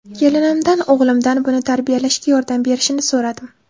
Kelinimdan o‘g‘limdan buni tarbiyalashga yordam berishini so‘radim.